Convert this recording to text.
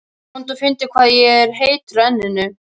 Komdu og finndu hvað ég er heitur á enninu.